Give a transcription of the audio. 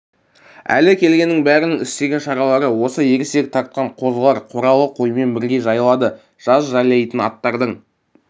әлі келгеннің бәрінің істеген шаралары осы ересек тартқан қозылар қоралы қоймен бірге жайылады жаз жайлайтын аттардың